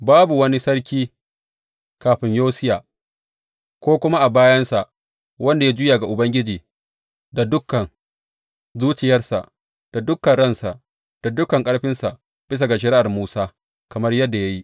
Babu wani sarki kafin Yosiya, ko kuma a bayansa, wanda ya juya ga Ubangiji da dukan zuciyarsa, da dukan ransa, da dukan ƙarfinsa bisa ga shari’ar Musa, kamar yadda ya yi.